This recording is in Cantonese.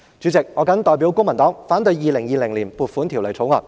主席，我謹代表公民黨反對《2020年撥款條例草案》。